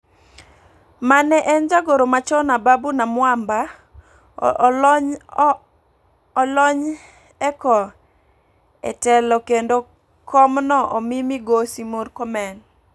Mane en jagoro machon Ababu Namwamba olony eko e telo kendo kom no omi Migosi Murkomen.